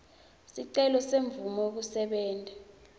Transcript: sicelo semvumo yekusebenta